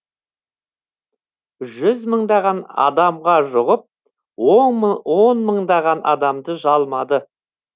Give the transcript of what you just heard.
жүз мыңдаған адамға жұғып он мыңдаған адамды жалмады